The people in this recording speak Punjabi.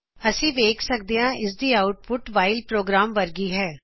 ਅਸੀ ਵੇਖ ਸਕਦੇ ਹਾਂ ਕੀ ਇਸ ਦੀ ਆਉਟਪੁਟ ਵਾਇਲ ਪ੍ਰੋਗਰਾਮ ਵਰਗੀ ਹੀ ਹੈ